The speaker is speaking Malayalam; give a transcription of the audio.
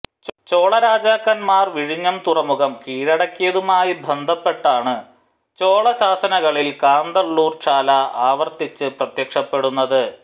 ചോളരാജാക്കന്മാർ വിഴിഞ്ഞം തുറമുഖം കീഴടക്കിയതുമായി ബന്ധപ്പെട്ടാണു ചോളശാസനങ്ങളിൽ കാന്തളൂർചാല ആവർത്തിച്ച് പ്രത്യക്ഷപ്പെടുന്നത്